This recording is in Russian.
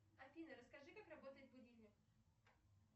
афина расскажи как работает будильник